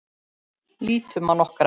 Lítum á nokkra.